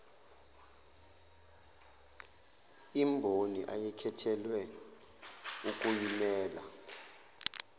imboni ayekhethelwe ukuyimela